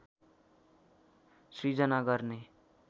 सिर्जना गर्ने